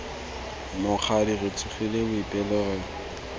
mokgadi re tsogile boipelo re